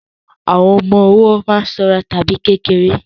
Àwọn ọmọ ọwọ́ má ń sanra tàbí kéré